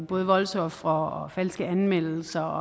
både voldsofre og falske anmeldelser